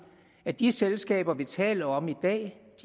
at de selskaber vi taler om i dag